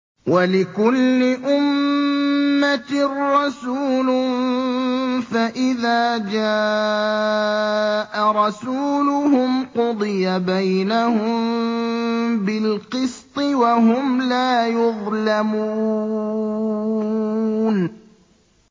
وَلِكُلِّ أُمَّةٍ رَّسُولٌ ۖ فَإِذَا جَاءَ رَسُولُهُمْ قُضِيَ بَيْنَهُم بِالْقِسْطِ وَهُمْ لَا يُظْلَمُونَ